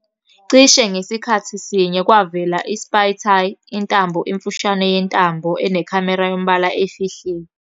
Cishe ngasikhathi sinye, kwavela iSpy Tie, "intambo emfushane yentambo enekhamera yombala efihliwe".